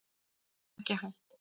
Ekki hætt